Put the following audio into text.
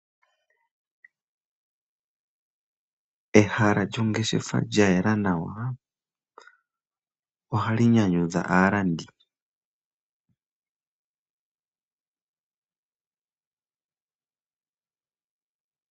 Ehala lyongeshefa lya yela nawa, ohali nyanyudha aalandi.